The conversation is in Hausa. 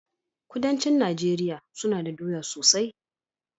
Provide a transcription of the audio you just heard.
Kudancin nageria suna da doya sosai